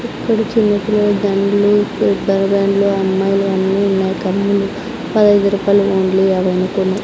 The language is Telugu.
ఇక్కడ చిన్న పిల్లల దండ్లు రెబ్బరుబ్యాండ్లు అమ్మాయిలవన్నీ ఉన్నాయి పదైదు రూపాయలు ఓన్లీ యావైన కొన్నా.